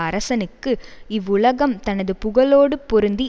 அரசனுக்கு இவ்வுலகம் தனது புகழோடு பொருந்தி